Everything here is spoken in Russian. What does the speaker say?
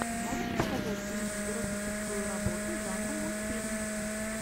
можешь показать кинематографическую работу жанра мультфильм